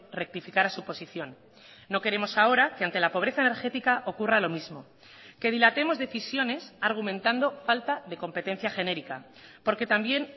rectificara su posición no queremos ahora que ante la pobreza energética ocurra lo mismo que dilatemos decisiones argumentando falta de competencia genérica porque también